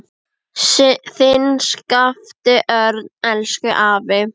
Þinn Skapti Örn. Elsku afi.